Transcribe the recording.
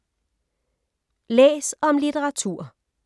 Læs om litteratur